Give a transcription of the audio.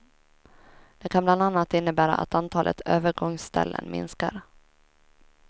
Det kan bland annat innebära att antalet övergångsställen minskar.